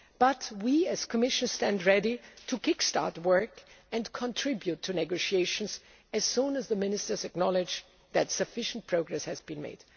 make. But we, the Commission, stand ready to kick start work and contribute to negotiations as soon as the ministers acknowledge that sufficient progress has been